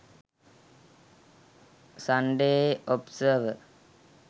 sunday observer